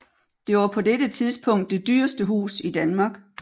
Det var på dette tidspunkt det dyreste hus i Danmark